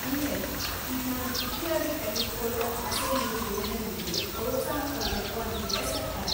ಅಂದ್ರೆ, ಇದ್ನ ವೃತ್ತಿಯಾಗಿ ತೆಗೆದ್ಕೊಳೋ ಆಸೆಯಿರೋ ಯುವಜನ್ರಿಗೆ ಪ್ರೋತ್ಸಾಹ ಕೊಡ್ಬೇಕು ಅಂತಿದೆ ಸರ್ಕಾರ.